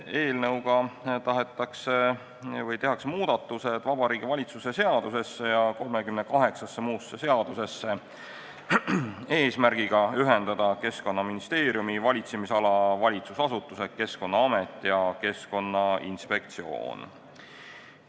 Eelnõuga tehakse muudatused Vabariigi Valitsuse seadusesse ja 38-sse muusse seadusesse eesmärgiga ühendada Keskkonnaministeeriumi valitsemisala valitsusasutused Keskkonnaamet ja Keskkonnainspektsioon.